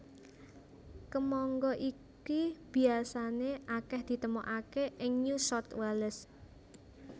Kemangga iki biasané akèh ditemokaké ing New South Wales